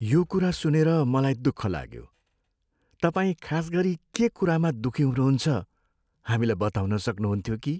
यो कुरा सुनेर मलाई दुःख लाग्यो। तपाईँ खास गरी के कुरामा दुःखी हुनुहुन्छ हामीलाई बताउन सक्नुहुन्थ्यो कि?